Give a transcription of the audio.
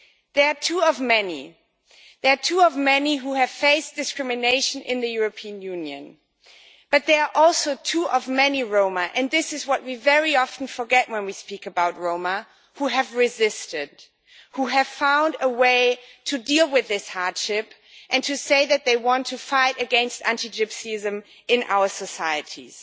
They are two among many who have faced discrimination in the European Union, but they are also two among many Roma and this is what we very often forget when we speak about the Roma who have resisted, and who have found a way to deal with this hardship and to say that they want to fight against anti-Gypsyism in our societies.